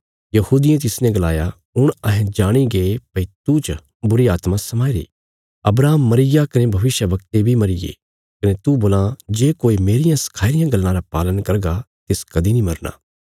यहूदियें तिसने गलाया हुण अहें जाणीगे भई तूह च बुरीआत्मा समाईरी अब्राहम मरीग्या कने भविष्यवक्ते बी मरीये कने तू बोल्लां जे कोई मेरियां सखाई रियां गल्लां रा पालन करगा तिस कदीं नीं मरना